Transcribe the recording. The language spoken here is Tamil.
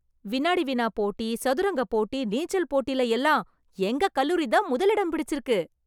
வினாடி வினா போட்டி, சதுரங்க போட்டி, நீச்சல் போட்டில எல்லாம் எங்க கல்லூரிதான் முதல் இடம் பிடிச்சிருக்கு.